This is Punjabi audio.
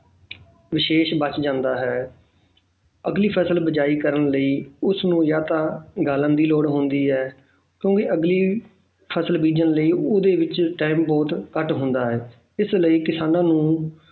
ਵਿਸ਼ੇਸ਼ ਬਚ ਜਾਂਦਾ ਹੈ ਅਗਲੀ ਫ਼ਸਲ ਬੀਜਾਈ ਕਰਨ ਲਈ ਉਸ ਨੂੰ ਜਾਂ ਤਾਂ ਗਾਲਣ ਦੀ ਲੋੜ ਹੁੰਦੀ ਹੈ ਕਿਉਂਕਿ ਅਗਲੀ ਫ਼ਸਲ ਬੀਜਣ ਲਈ ਉਹਦੇ ਵਿੱਚ time ਬਹੁਤ ਘੱਟ ਹੁੰਦਾ ਹੈ ਇਸ ਲਈ ਕਿਸਾਨਾਂ ਨੂੰ